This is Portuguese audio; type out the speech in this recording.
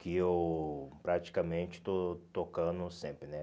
que eu praticamente estou tocando sempre, né?